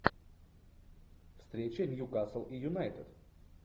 встреча ньюкасл и юнайтед